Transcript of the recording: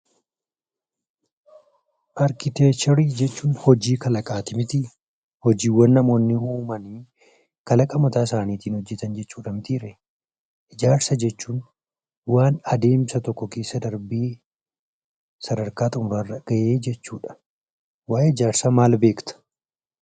Arkiteekcharii jechuun hojii kalaqaati mitii? Hojiiwwan namoonni uumanii kalaqa mataa isaaniin hojjetan mitiiree? Ijaarsa jechuun waan adeemsa tokko keessa darbee sadarkaa xummuraa irra ga'ee jechuudha. Waa'ee ijaarsaa maal beekta?